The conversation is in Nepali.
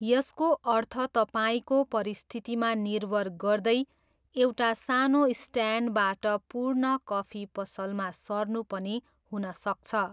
यसको अर्थ तपाईँको परिस्थितिमा निर्भर गर्दै एउटा सानो स्ट्यान्डबाट पूर्ण कफी पसलमा सर्नु पनि हुन सक्छ।